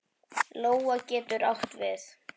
Lóa getur átt við